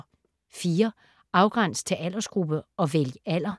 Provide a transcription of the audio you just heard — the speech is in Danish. Afgræns til aldersgruppe og vælg alder